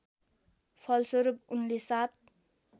फलस्वरूप उनले सात